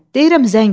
Deyirəm zəng elə.